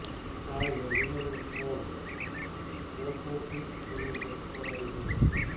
આ યોજનાનું form post office તેમજ બેંકમાં મળી જશે